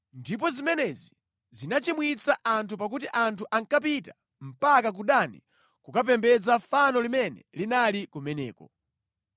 Ndipo zimenezi zinachimwitsa anthu pakuti anthu ankapita mpaka ku Dani kukapembedza fano limene linali kumeneko.